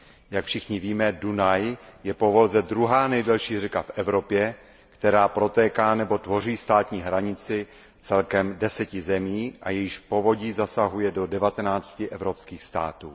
Jak všichni víme, Dunaj je po Volze druhá nejdelší řeka v Evropě, která protéká nebo tvoří státní hranici celkem deseti zemí a jejíž povodí zasahuje do devatenácti evropských států.